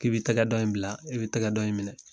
K'i bɛ i tɛgɛ dɔ in bila i bɛ i tɛgɛ dɔ in minɛ.